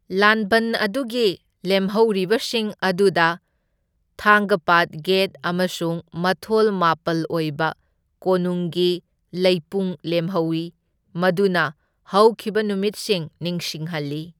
ꯂꯥꯟꯕꯟ ꯑꯗꯨꯒꯤ ꯂꯦꯝꯍꯧꯕꯁꯤꯡ ꯑꯗꯨꯗ ꯊꯥꯡꯒꯄꯥꯠ ꯒꯦꯠ ꯑꯃꯁꯨꯡ ꯃꯊꯣꯜ ꯃꯥꯄꯜ ꯑꯣꯏꯕ ꯀꯣꯅꯨꯡꯒꯤ ꯂꯩꯄꯨꯡ ꯂꯦꯝꯍꯧꯏ, ꯃꯗꯨꯅ ꯍꯧꯈꯤꯕ ꯅꯨꯃꯤꯠꯁꯤꯡ ꯅꯤꯡꯁꯤꯡꯍꯜꯂꯤ꯫